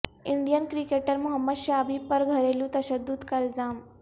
Indian cricketer Mohammed Shami پر گھریلو تشدد کا الزام